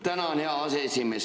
Tänan, hea aseesimees!